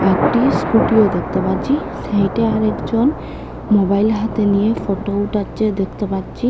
একটি স্কুটিও দেখতে পাচ্ছি সাইডে আরেকজন মোবাইল হাতে নিয়ে ফটো উঠাচ্চে দেখতে পাচ্ছি।